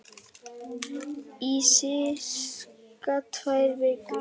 Í sirka tvær vikur.